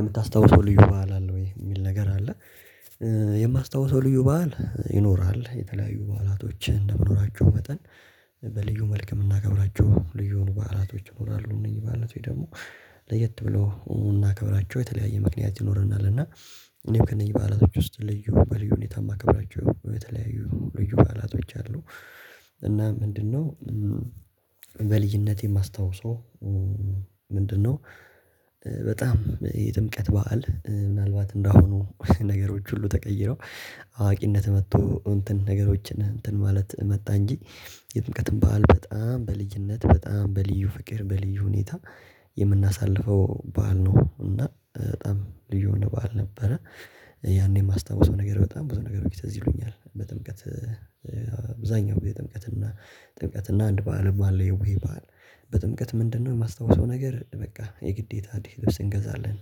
የምታስታውሰው ልዩ በዓል አለ ወይ የሚል ነገር አለ? የማስታውሰው ልዩ በዓል ይኖራል የተለያዩ በዓላቶችን እንደምኖራቸው መጠን በልዩ መልክ የምናገባቸው ልዩን በዓላቶች ይኖራሉ። እነዚህ ማለት ወይ ደግሞ ለየት ብለው እናከብራቸው የተለያየ ምክንያት ይኖረናል እና እኔው ከእነኚህ በዓላቶች ውስጥ ልዩ በልዩ እኔ ታማክ ብላችሁ። ልዩ ባላቶች አሉ። እና ምንድነው? በልጅነቴ የማስታውሰው። ምንድነው? በጣም የጥምቀት በዓል ምናልባት እንዳሁኑ ነገሮች ሁሉ ተቀይረው አዋቂነት መጥቶ እንትን ነገሮችን እንትን ማለት መጣ እንጂ የጥምቀትን ባህል በጣም በልዩነት በጣም በልዩ ፍቅር በልዩ ሁኔታ የምናሳልፈው በዓል ነው እና በጣም ልዩ ነው ባል ነበረ። ያኔ የማስታውሰው ነገር በጣም ብዙ ነገር ብዙ ነገር ፅ ይሉኛል በጥምቀት። አብዛኛው የጥምቀትና ጥምቀትና አንድ ባል ባል የውይ ባል። በጥምቀት ምንድነው የማስታውሰው ነገር በቃ የግዴታ ወደ እንገባለን የሚያምር ልብስ እንገዛለን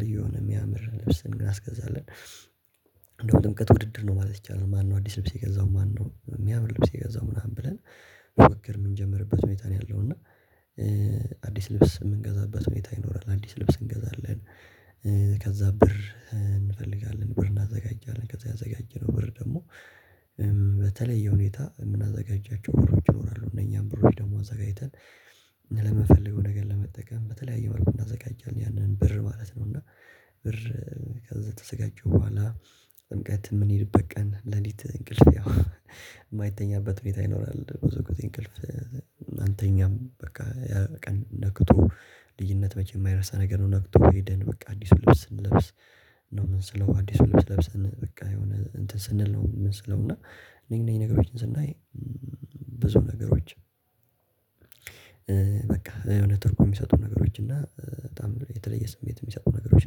ልዩን ያምር ልብስን ግን አስገዛለን። እንደው ጥምቀት ውድድር ነው ማለት ይቻላል። ማነው አዲስ ልብስ የገዛው ማነው የሚያምር ልብስ የገዛው ምናምን ብለን። ፉክክር የምንጀምርበት ሁኔታ ነው ያለው እና። አዲስ ልብስ የምንገዛበት ሁኔታ ይኖራል አዲስ ልብስ እንገዛለን። ከዛ ብር እንፈልጋለን ብር እናዘጋጃለን ከዛ ያዘጋጀነው ብር ደግሞ። በተለይ የሁኔታ የምናዘጋጃቸው ብር እጅ ይኖራሉ እነኛም ብር ደግሞ አዘጋጅተን። ለመፈለጉ ነገር ለመጠቀም በተለያየ መልኩ እናዘጋጃለን ያንን ብር ማለት ነው። እና ብር ከተዘጋጀ በኋላ። ጥምቀት የምንሄድበት ቀን ሌሊት እንቅልፍ የማይተኛበት ቤት አይኖርም። ብዙ ጊዜእንቅልፍ አንተኛም በቃ ያ በቃ ነክቶ ልዩነት መቼ የማይረሳ ነገር ነው። ነክቶ ሄደን በቃ አዲሱ ልብስ ስንለብስ ነው ምን ስለው አዲሱ ልብስ ለብሰን በቃ የሆነ እንትን ስንል ነው። የምንሰለው እና እኔ እኔ ነገሮችን ስናይ ብዙ ነገሮች። በቃ የሆነ ትርጉም የሚሰጡ ነገሮች እና በጣም የተለየ ስሜት የሚሰጡ ነገሮች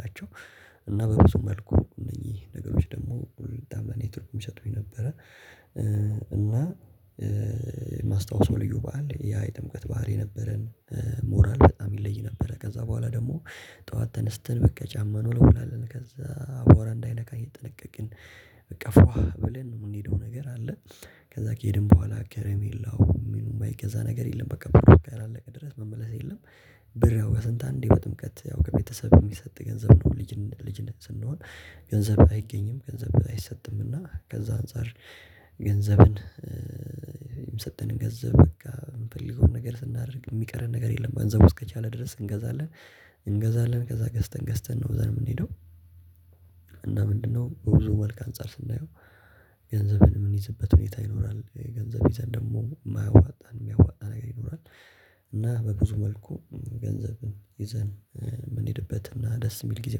ናቸው። እና በብዙ መልኩ እነዚህ ነገሮች ደግሞ ሁሉን ጣመኔታ የሚሰጡኝ ነበረ። እና የማስታወስ ልዩ በዓል ያ የጥምቀት ባህሪ ነበረን። ሞራል በጣም ይለይ ነበረ ከዛ በኋላ ደግሞ ጠዋት ተነስተን በቃ ጫማ እንወለውላለን ከዛ አቧራእንዳይነካ እየጠነቀቅን እቀፍሯል ብለን የምንሄደው ነገር አለ። ከዛ ከሄድን በኋላ ከረሜላሁ ምኑን ባይገዛ ነገር የለም። በቃ በቃ ያላለቀ ድረስ መመለስ የለም። ብር ያው ከስንት አንዴ በጥምቀት ያው ከቤተሰብ የሚሰጥ ገንዘብ ልጅ ልጅነት ስንሆን ገንዘብ አይገኝም ገንዘብ አይሰጥምና ከዛ አንፃር። ገንዘብን የሰጠንን ገንዘብ በቃ የምፈልገውን ነገር ስናደርግ የሚቀረን ነገር የለም ገንዘቡ ከቻለ ድረስ እንገዛለን። እንገዛለን ከዛ ገዝተን ገዝተን ነው እዛ ነው የምንሄደው። እና ምንድነው? ብዙ መልክ አንፃር ስናየው ገንዘብን ምን ይዝበት ሁኔታ ይኖራል የገንዘብ ይዘን ደግሞ የማያዋጣን የሚያዋጣ ነገር ይኖራል። እና በብዙ መልኩ ገንዘብን ይዘን የምንሄድበት እና ደስ የሚል ጊዜ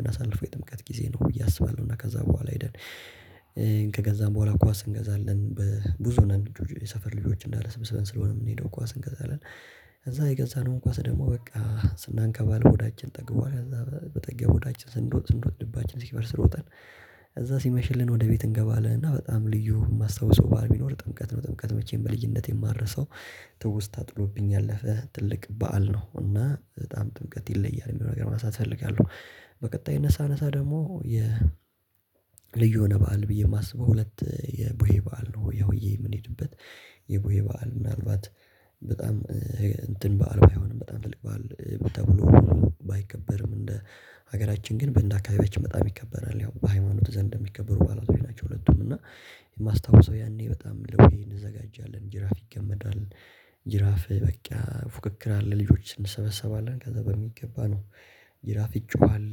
እንዳሳልፈው የጥምቀት ጊዜ ነው ብዬ አስባለሁ። እና ከዛ በኋላ አይደል። ከገዛም በኋላ ኳስ እንገዛለን በብዙ ነገሮች የሰፈር ልጆች እንዳለ ስብስብን ስለሆነ የምንሄደው ኳስ እንገዛለን። ከዛ የገዛነውን ኳስ ደግሞ በቃ ስናንከባል ሆዳችን ጠግቧል ከዛ በጠግተን ሆዳችን ስንሮጥ ስንሮ ልባችን ሲፈል ሮጠን እዛ ሲመሽልን ወደ ቤት እንገባለን። እና በጣም ልዩ የማስታውሰው ባህል ቢኖር ጥምቀት ነው። ጥምቀት መቼም በልጅነት የማረሳው ትውስታ ጥሎብኝ ያለፈ ትልቅ በዓል ነው። እና በጣም ጥምቀት ይለያል የሚለው ነገር ማሳተፍ እፈልጋለሁ። በቀጣይ እነሳ አነሳ ደግሞ የ ልዩ የሆነ በዓል ብዬ የማስበው ሁለት የቦዬ በዓል ነው። ሆያ ሆየ የምንሄድበት የቦዬ በዓል ምናልባት በጣም እንትን በዓል ባይሆንም በጣም ተልክ በዓል ተብሎ። ባይከበርም እንደ ሀገራችን ግን በእንደ አካባቢያችን በጣም ይከበራል ያው በሃይማኖት ዘንድ የሚከበሩ ባለቤቶች ናቸው። ሁለቱም እና የማስታውሰው ያኔ በጣም ለወይ እንዘጋጃለን ጅራፍ ይገመዳል። ጅራፍ በቃ ፉክክር አለ። ልጆችን እንሰበሰባለን ከዛ በሚገባ ነው። ጅራፍ ይጨዋል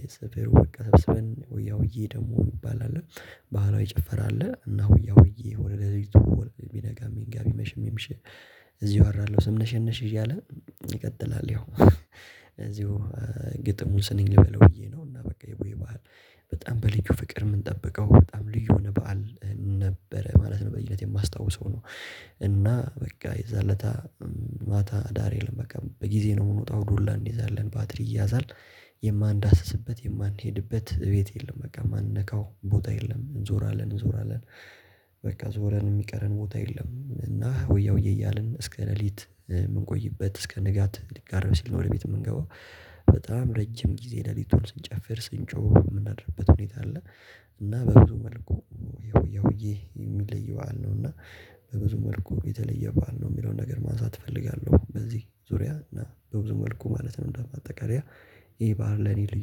የሰፈሩ ወይ ያውዬ ደግሞ እንባላለን። ባህሏ ይጨፈራል እና ወይ ወይ ወይ ቢነጋ ቢነጋ ቢመሽ የሚመሽ እዚህ እወራለሁ ስም ነሽ ነሽ እያለ ይቀጥላል። ያው እዚሁ ግጥሙን ስንኝ ልበል ብዬ ነው። እና በቃ በጣም በልዩ ፍቅር የምንጠብቀው በጣም ልዩ በዓል ነበረ ማለት ነው። በየት የማስታውሰው ነው። እና በቃ የዛለታ ማታ ዳር የለም። በቃ በጊዜ ነው የምወጣው ዱላ እንይዛለን ባትሪ እያዛል የማንዳስስበት የማንሄድበት ቤት የለም። በቃ የማንነካው ቦታ የለም እንዞራለን እንዞራለን። በቃ ዞረን የሚቀረን ቦታ የለም። እና ወያውዬ እያልን እስከ ሌሊት የምንቆይበት እስከ ንጋት ሊጋረብ ሲል ነው ወደ ቤት የምንገባው። በጣም ረጅም ጊዜ ሌሊቱን ስንጨፍር ስንጮህ የምናደርበት ሁኔታ አለ። እና በብዙ መልኩ ይሄ የሚለየው አለው። እና በብዙ መልኩ የተለየ ባል ነው የሚለውን ነገር ማንሳት እፈልጋለሁ። በዚህ ዙሪያ እና በብዙ መልኩ ማለት ነው። እንደው አጠቃላይ ይህ ባህል ለኔ ልዩ